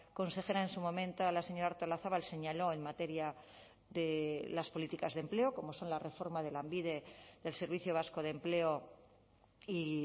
consejera en su momento la señora artolazabal señaló en materia de las políticas de empleo como son la reforma de lanbide del servicio vasco de empleo y